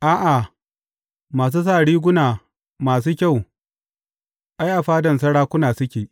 A’a, masu sa riguna masu kyau, ai, a fadan sarakuna suke.